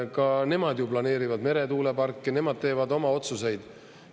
Ka nemad ju planeerivad meretuuleparke, nemad teevad oma otsuseid.